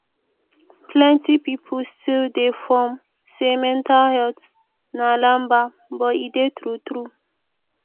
plenti pipo stil dey form say mental health na lamba but e dey tru tru